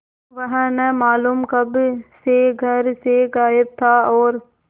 वह न मालूम कब से घर से गायब था और